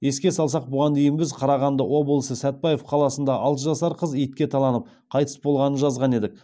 еске салсақ бұған дейін біз қарағанды облысы сәтбаев қаласында алты жасар қыз итке таланып қайтыс болғанын жазған едік